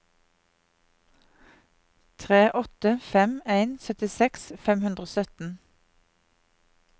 tre åtte fem en syttiseks fem hundre og sytten